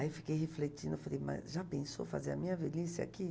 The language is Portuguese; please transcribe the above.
Aí fiquei refletindo, falei, mas já pensou fazer a minha velhice aqui?